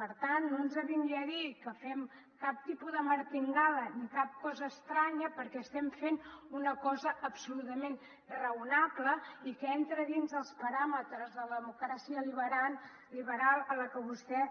per tant no ens vingui a dir que fem cap tipus de martingala ni cap cosa estranya perquè estem fent una cosa absolutament raonable i que entra dins els paràmetres de la democràcia liberal a la que vostè